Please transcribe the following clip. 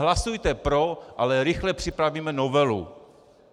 Hlasujte pro, ale rychle připravíme novelu.